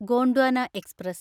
Gondwana express